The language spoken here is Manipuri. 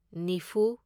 ꯅꯤꯐꯨ